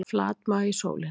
Flatmaga í sólinni